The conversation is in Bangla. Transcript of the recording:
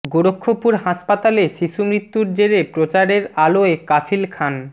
গোরক্ষপুর হাসপাতালে শিশু মৃত্যুর জেরে প্রচারের আলোয় কাফিল খান